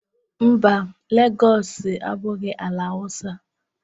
Mba, Legọọsị abụghị ala Awụsa.